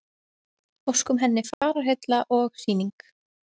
Óskum henni fararheilla og Sýning